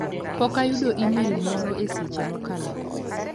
Pok ayudo imel moro e seche mosekalo go.